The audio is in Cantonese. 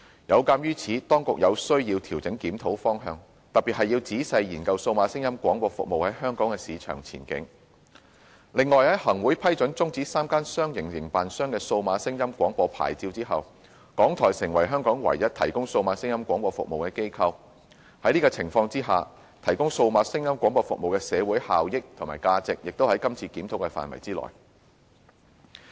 有鑒於此，當局有需要調整檢討方向，特別是要仔細研究數碼廣播服務在香港的市場前景；另外，在行政長官會同行政會議批准終止3間商營營辦商的數碼廣播牌照後，港台成為香港唯一提供數碼廣播服務的機構，在此情況之下提供數碼廣播服務的社會效益和價值，也屬今次檢討範圍之內。